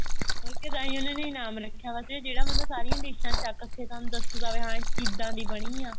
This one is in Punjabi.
ਉਹੀ ਤਾਂ ਤਾਂਹੀਂ ਉਹਨਾ ਨੇ ਇਨਾਮ ਰੱਖਿਆ ਹੋਇਆ ਸੀਗਾ ਜਿਹੜਾ ਮਤਲਬ ਸਾਰੀਆਂ ਡਿਸ਼ਾ ਚਖ ਕੇ ਥੋਨੂੰ ਦੱਸੂਗਾ ਹਾਂ ਵੀ ਕਿੱਦਾਂ ਦੀ ਬਣੀ ਹੈ